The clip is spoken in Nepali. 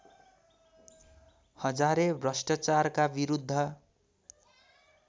हजारे भ्रष्टाचारका विरुद्ध